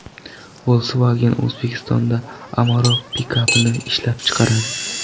Volkswagen O‘zbekistonda Amarok pikapini ishlab chiqaradi.